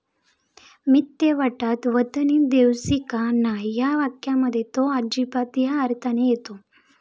मित्त्य वट्टात वतनी देऊसकी न्हाय' या वाक्यामध्ये तो 'अजिबात' या अर्थाने येतो.